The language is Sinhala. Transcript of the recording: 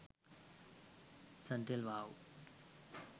suntel wow